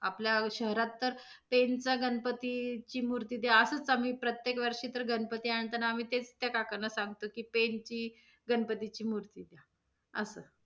आपल्या शहरात तर, पेनचा गणपती ची मूर्ती द्या असच आम्ही प्रत्येक वर्षी तर गणपती आणताना आम्ही तेच त्या काकांना सांगतो की, पेन ची गणपतीची मूर्ती द्या, असं.